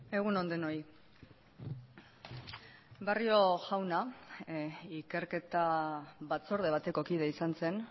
egun on denoi barrio jauna ikerketa batzorde bateko kide izan zen